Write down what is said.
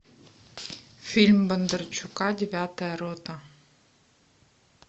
фильм бондарчука девятая рота